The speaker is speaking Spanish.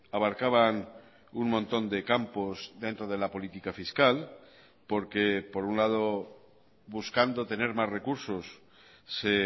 abarcaban un montón de campos dentro de la política fiscal porque por un lado buscando tener más recursos se